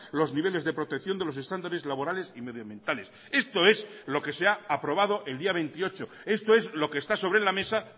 los niveles de protección de los estándares laborales y medioambientales esto es lo que se ha aprobado el día veintiocho esto es lo que está sobre la mesa